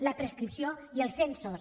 la prescripció i els censos